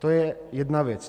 To je jedna věc.